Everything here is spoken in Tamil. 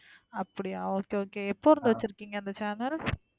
அப்படியா okay, okay. எப்போலருந்து வச்சிருக்கீங்க இந்த channel